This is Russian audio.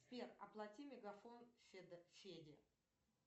сбер оплати мегафон феде